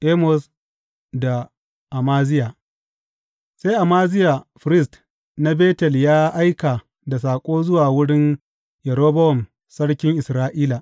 Amos da Amaziya Sai Amaziya firist na Betel ya aika da saƙo zuwa wurin Yerobowam sarkin Isra’ila.